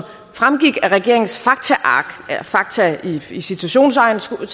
fremgik af regeringens faktaark fakta i citationstegn skulle